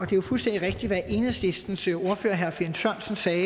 jo fuldstændig rigtigt hvad enhedslistens ordfører herre finn sørensen sagde